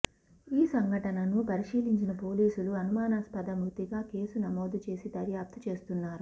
ఈ సంఘటనను పరిశీలించిన పోలీసులు అనుమానాస్పద మృతిగా కేసు నమోదు చేసి దర్యాప్తు చేస్తున్నారు